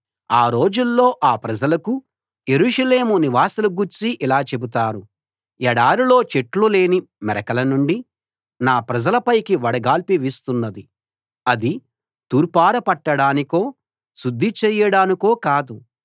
ఆ రోజుల్లో ఆ ప్రజలకు యెరూషలేము నివాసుల గూర్చి ఇలా చెబుతారు ఎడారిలో చెట్లులేని మెరకల నుండి నా ప్రజల పైకి వడగాలి వీస్తున్నది అది తూర్పార పట్టడానికో శుద్ధి చేయడానికో కాదు